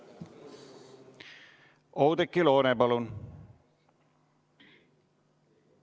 Oudekki Loone, palun!